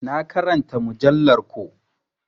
Na ƙaranta mujallar ko.